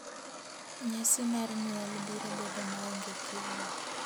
nyasi mar nyuol biro bedo maonge kiawa ,